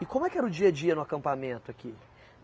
E como é que era o dia a dia no acampamento aqui?